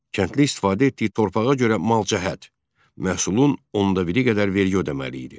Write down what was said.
Kəndli istifadə etdiyi torpağa görə malcəhət məhsulun ondabiri qədər vergi ödəməli idi.